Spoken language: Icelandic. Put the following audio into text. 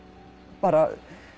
bara